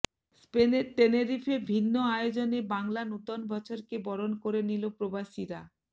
স্পেনের টেনেরিফে ভিন্ন আয়োজনে বাংলা নতুন বছরকে বরণ করে নিলো প্রবাসীরা